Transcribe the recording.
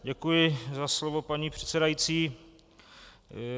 Děkuji za slovo paní předsedající.